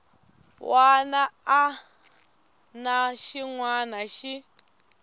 wana na xin wana xi